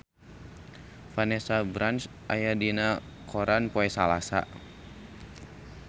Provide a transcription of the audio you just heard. Vanessa Branch aya dina koran poe Salasa